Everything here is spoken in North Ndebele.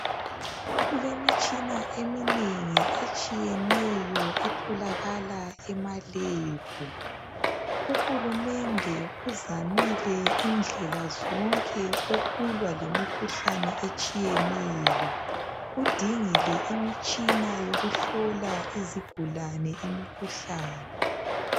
Kulemitshina eminengi etshiyeneyo etholakala emalebhu. Uhulumende uzamile indlela zonke ukulwa lemikhuhlane etshiyeneyo. Udingile imitshina yokuhlola izigulane imikhuhlane.